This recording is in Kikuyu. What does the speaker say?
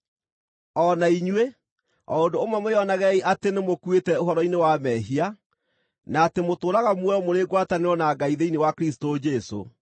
O na inyuĩ, o ũndũ ũmwe mwĩonagei atĩ nĩmũkuĩte ũhoro-inĩ wa mehia, na atĩ mũtũũraga muoyo mũrĩ ngwatanĩro na Ngai thĩinĩ wa Kristũ Jesũ.